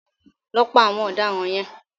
Lọ pa àwọn ọ̀daràn yẹn.